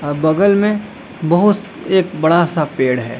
और बगल में बहुत सा एक बड़ा सा पेड़ है।